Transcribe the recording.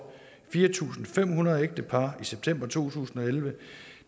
fire tusind fem hundrede ægtepar i september to tusind og elleve